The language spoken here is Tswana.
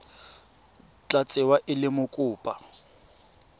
tla tsewa e le mokopa